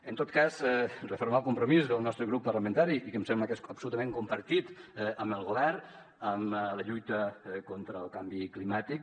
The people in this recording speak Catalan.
en tot cas refermar el compromís del nostre grup parlamentari i que em sembla que és absolutament compartit amb el govern amb la lluita contra el canvi climàtic